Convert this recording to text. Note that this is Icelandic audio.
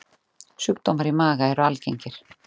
Sjúkdómar í maga eru algengir.